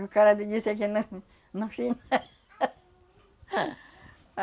E o cara me disse não. Fim.